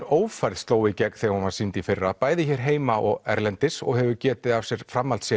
ófærð sló í gegn þegar hún var sýnd í fyrra bæði hér heima og erlendis og hefur getið af sér